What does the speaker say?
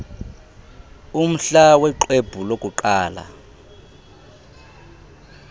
umhla woxwebhu lokuqala